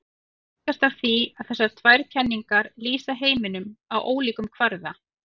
Það helgast af því að þessar tvær kenningar lýsa heiminum á ólíkum kvarða.